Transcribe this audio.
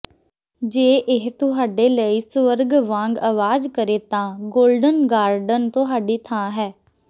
ਜੇ ਇਹ ਤੁਹਾਡੇ ਲਈ ਸਵਰਗ ਵਾਂਗ ਆਵਾਜ਼ ਕਰੇ ਤਾਂ ਗੋਲਡਨ ਗਾਰਡਨ ਤੁਹਾਡੀ ਥਾਂ ਹੈ